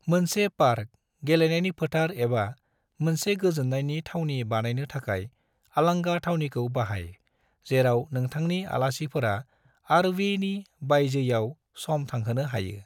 मोनसे पार्क, गेलेनायनि फोथार एबा मोनसे गोजोन्नायनि थावनि बानायनो थाखाय आलांगा थावनिखौ बाहाय जेराव नोंथांनि आलासिफोरा आर.वी. नि बायजोयाव सम थांहोनो हायो।